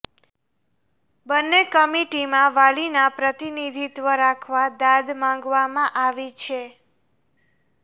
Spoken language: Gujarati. બન્ને કમિટીમાં વાલીના પ્રતિનિધિત્વ રાખવા દાદ માગવામાં આવી છે